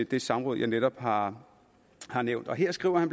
det samråd jeg netop har har nævnt og her skriver han